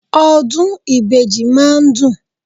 Ọdún ìbejì máa ń dùn.